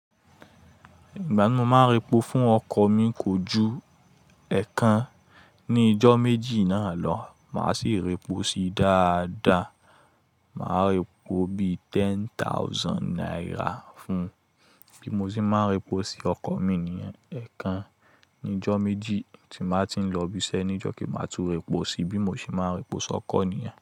Ìgbà mo màá repò fún ọkọ̀ mi kò ju ẹẹkan ní íjọ́ méjì náà lọ. Màá sì repò sí dáadáa. Màá repò bí i ten thousand naira fún un bí mo ṣe máa repò sí ọkọ̀ mi níyen ẹẹkan ní ọjọ́ méjì tí màá ti ń lọ ibi iṣẹ́ níjọ́ kí màá tó repò sí bí mo ṣe máa repò sí ọkọ̀ nìyen.